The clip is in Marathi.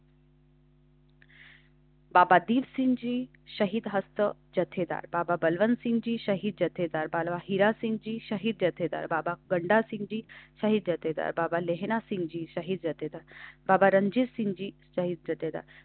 बाबा दिप जी शहीद जत्थेदार, बाबा बलविंदरसिंघजी शहीद जत्थेदार, बाबा हिरासिंगजी शहीद जत्थेदार, बाबा गंडासिंग शहीद जत्थेदार, बाबा लेहना सिंग शहीद जत्थेदार, बाबा रणजीतसिंगजी शहीद जत्थेदार